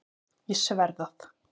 Ég sver það.